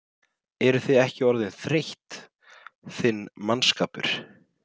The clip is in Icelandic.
Eruð þið ekki orðin þreytt, þinn mannskapur?